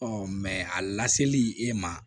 mɛ a laseli e ma